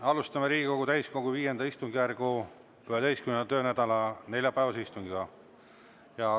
Alustame Riigikogu täiskogu V istungjärgu 11. töönädala neljapäevase istungiga.